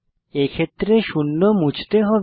এক্ষেত্রে শূন্য মুছতে হবে